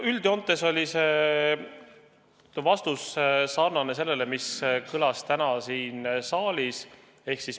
Üldjoontes oli see vastus sarnane sellega, mis kõlas täna siin saalis.